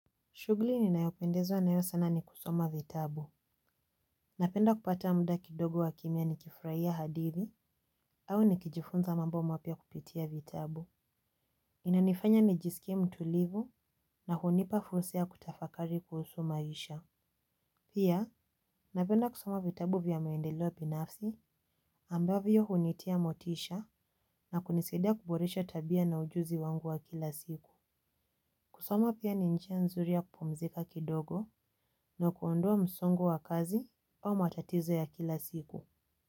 Shughuli ni nayopendezwa nayo sana ni kusoma vitabu. Napenda kupata muda kidogo wa kimya nikifurahia hadithi, au nikijifunza mambo mapya kupitia vitabu. Inanifanya nijisikie mtulivu, na hunipa fursa ya kutafakari kuhusu maisha. Pia, napenda kusoma vitabu vya maendeleo binafsi ambavyo hunitia motisha na kunisidia kuboresha tabia na ujuzi wangu wa kila siku. Kusoma pia ni njia nzuri ya kupumzika kidogo na kuondoa msongo wa kazi au matatizo ya kila siku.